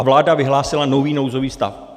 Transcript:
A vláda vyhlásila nový nouzový stav.